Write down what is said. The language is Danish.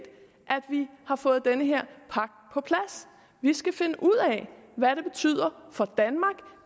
vi har fået den her pagt på plads vi skal finde ud af hvad det betyder for danmark